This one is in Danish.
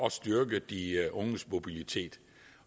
at styrke de unges mobilitet